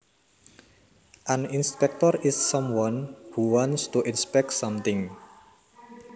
An inspector is someone who wants to inspect something